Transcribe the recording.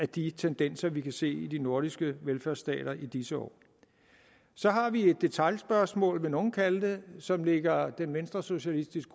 de tendenser vi kan se i de nordiske velfærdsstater i disse år så har vi et detailspørgsmål vil nogle kalde det som ligger den venstresocialistiske